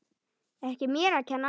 Ekki mér að kenna!